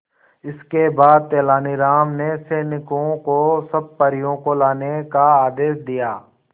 इसके बाद तेलानी राम ने सैनिकों को सब परियों को लाने का आदेश दिया